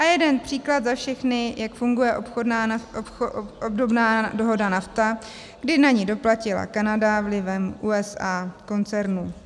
A jeden příklad za všechny, jak funguje obdobná dohoda NAFTA, kdy na ni doplatila Kanada vlivem USA, koncernů.